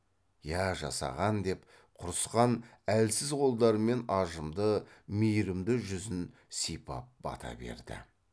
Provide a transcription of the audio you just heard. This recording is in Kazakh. иә жасаған деп құрысқан әлсіз қолдарымен ажымды мейрімді жүзін сипап бата берді